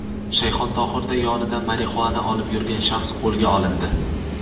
Shayxontohurda yonida marixuana olib yurgan shaxs qo‘lga olindi.